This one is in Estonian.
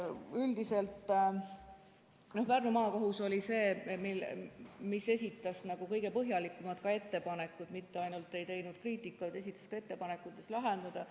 Üldiselt, Pärnu Maakohus esitas kõige põhjalikumad ettepanekud, mitte ainult ei teinud kriitikat, vaid esitas ettepanekud, kuidas lahendada.